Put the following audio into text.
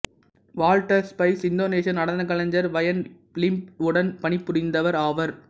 Walter Spies இந்தோனேசிய நடனக் கலைஞர் வயன் லிம்பாக் உடன் பணிபுரிந்தவர் ஆவார்